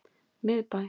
Miðbæ